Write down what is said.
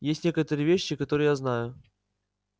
есть некоторые вещи которые я знаю